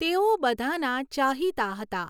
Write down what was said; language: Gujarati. તેઓ બધાના ચાહીતા હતા.